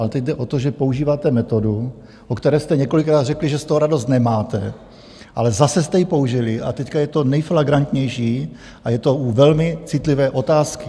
Ale teď jde o to, že používáte metodu, o které jste několikrát řekli, že z toho radost nemáte, ale zase jste ji použili, a teď je to nejflagrantnější a je to u velmi citlivé otázky.